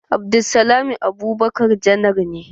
Abdulsalami Abubakar janar ne.